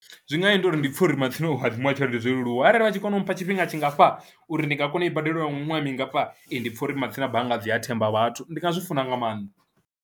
Zwi nga nyita uri ndi pfhe uri matsina u hadzimiwa tshelede zwo leluwa arali vha tshi kona u mpha tshifhinga tshingafha uri ndi nga kona u i badela nga miṅwaha mingafha, ndi pfha uri matsina bannga dzi a themba vhathu ndi nga zwi funa nga maanḓa.